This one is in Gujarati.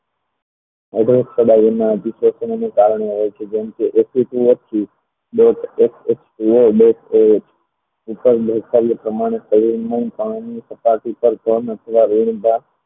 વિશ્લેષણને કારણે કે જંતુ